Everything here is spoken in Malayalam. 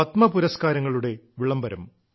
പത്മ പുരസ്കാരങ്ങളുടെ വിളംബരം